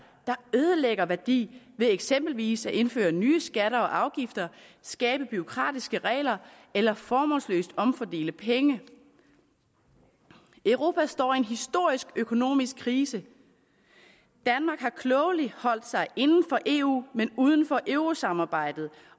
der ødelægger værdi ved eksempelvis at indføre nye skatter og afgifter skabe bureaukratiske regler eller formålsløst omfordele penge europa står i en historisk økonomisk krise danmark har klogeligt holdt sig inden for eu men uden for eurosamarbejdet